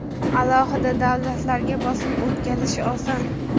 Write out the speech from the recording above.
alohida davlatlarga bosim o‘tkazish oson.